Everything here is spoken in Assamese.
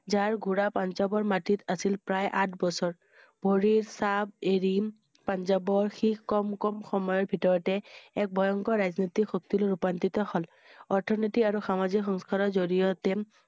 যাৰ ঘোঁৰা পাঞ্জাৱৰ মাটিত আছিল প্ৰায় আঠ বছৰ। ভৰিৰ চাব এৰিম পাঞ্জাবৰ শিখ কম কম সময়ৰ ভিতৰতে এক ভয়ংকৰ ৰাজনীতি শক্তিৰ ৰূপান্তৰিত হ'ল । অৰ্থনৈতিক আৰু সামাজিক সংস্কাৰৰ জৰিয়তে